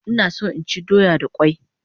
Ina so inchi doya da kwai